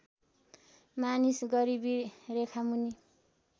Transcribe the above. मानिस गरिबी रेखामुनि